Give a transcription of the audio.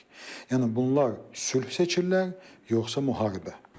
Yəni bunlar sülh seçirlər, yoxsa müharibə?